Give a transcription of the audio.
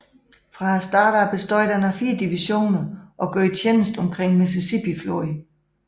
Fra starten bestod den af 4 divisioner og gjorde tjeneste omkring Mississippifloden